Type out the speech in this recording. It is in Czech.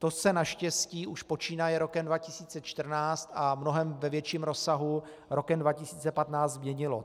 To se naštěstí už počínaje rokem 2014 a v mnohem větším rozsahu rokem 2015 změnilo.